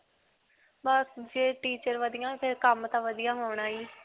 ਬਸ ਜੇ teacher ਵਧੀਆ ਫਿਰ ਕੰਮ ਤਾਂ ਵਧੀਆ ਹੋਣਾ ਹੀ .